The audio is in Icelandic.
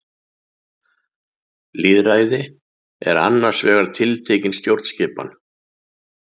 Lýðræði er annars vegar tiltekin stjórnskipan.